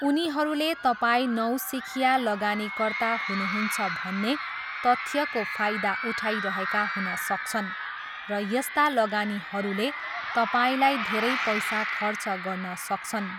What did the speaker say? उनीहरूले तपाईँ नौसिखिया लगानीकर्ता हुनुहुन्छ भन्ने तथ्यको फाइदा उठाइरहेका हुन सक्छन् र यस्ता लगानीहरूले तपाईँलाई धेरै पैसा खर्च गर्न सक्छन्।